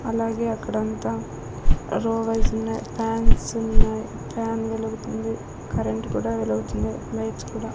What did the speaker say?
అలాగే అక్కడంతా రోవెల్సున్నాయి ఫ్యాన్స్ ఉన్నాయ్ ఫ్యాన్ వెలుగుతుంది కరెంటు కూడా వెలుగుతుంది లైట్స్ కూడా.